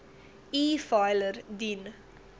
e filer dien